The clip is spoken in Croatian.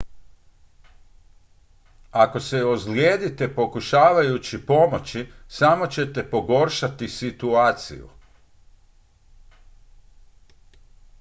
ako se ozlijedite pokušavajući pomoći samo ćete pogoršati situaciju